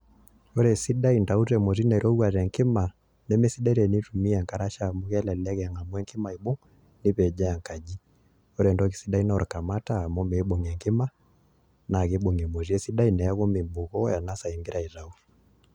Ore esidai intauto emoti nairowua tengima nemesidai tene intumia enkarasha amu kelelek eng'amu enkima aibung' nepejoo enkaji ore entoki sidai naa olkamata amu meibung' enkima naa kibung' emoti esidai neeku meibukoo ena saa ing'ira aituyu